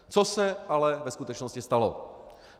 Co se ale ve skutečnosti stalo?